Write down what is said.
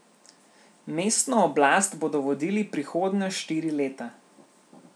Mestno oblast bodo vodili prihodnja štiri leta.